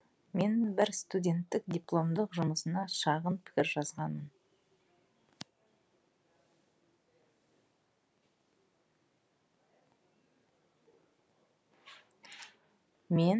мен бір студенттің дипломдық жұмысына шағын пікір жазғанмын